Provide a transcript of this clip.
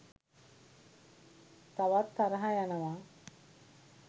තවත් තරහ යනවා